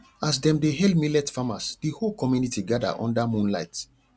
as dem dey hail millet farmers the whole community gather under moonlight